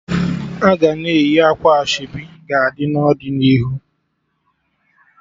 Aga na-eyi akwa ashebi ga-adi n'ọdịnihu